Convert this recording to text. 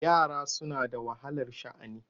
Yara suna da wahalar sha'ani.